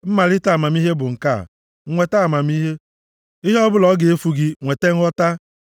Mmalite amamihe bụ nke a, nweta amamihe, ihe ọbụla o ga-efu gị, nweta nghọta.